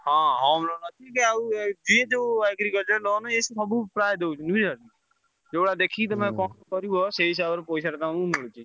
ହଁ home loan ଅଛିବି ଆଉ ଯିଏ ଯୋଉ agriculture loan ଏ ସବୁ ପ୍ରାୟ ଦଉଛନ୍ତି ବୁଝିପାଇଲ। ଯୋଉଭଳିଆ ଦେଖିକି ତମେ କଣ କରିବ ସେଇ ହିସାବରେ ପଇସାଟା ତାଙ୍କୁ ମିଳୁଛି।